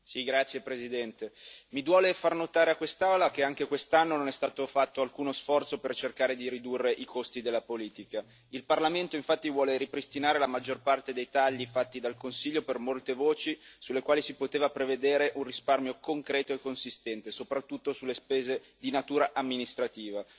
Signor Presidente, onorevoli colleghi, mi duole far notare a quest'Aula che anche quest'anno non è stato fatto alcuno sforzo per cercare di ridurre i costi della politica. Il Parlamento, infatti, vuole ripristinare la maggior parte dei tagli fatti dal Consiglio per molte voci sulle quali si poteva prevedere un risparmio concreto e consistente, soprattutto sulle spese di natura amministrativa.